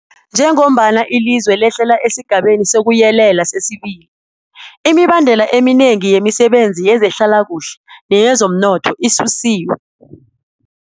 Njengombana ilizwe lehlela esiGabeni sokuYelela sesi-2, imibandela eminengi yemisebenzi yezehlalakuhle neyezomnotho isusiwe.